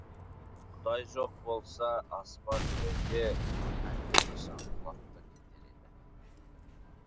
құдай жоқ болса аспан жерге әлдеқашан құлап та кетер еді